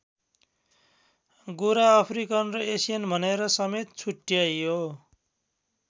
गोरा अफ्रिकन र एसियन भनेर समेत छुट्ट्याइयो।